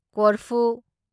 ꯀꯣꯔꯐꯨ